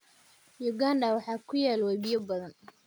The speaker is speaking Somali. Uganda waxaa ku yaal webiyo badan.